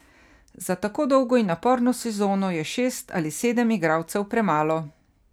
Za tako dolgo in naporno sezono je šest ali sedem igralcev premalo.